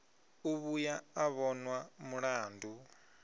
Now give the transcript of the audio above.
u vhuya a vhonwa mulandu